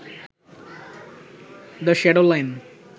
the shadow line